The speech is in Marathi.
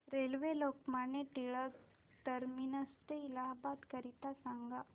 रेल्वे लोकमान्य टिळक ट ते इलाहाबाद करीता सांगा